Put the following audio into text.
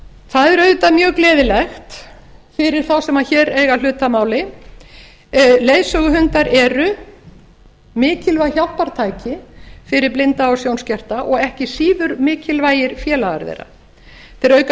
það er auðvitað mjög gleðilegt fyrir þá sem hér eiga hlut að máli leiðsöguhundar eru mikilvæg hjálpartæki fyrir blinda og sjónskerta og ekki síður mikilvægir félagar þeirra þeir auka